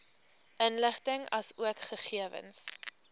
inligting asook gegewens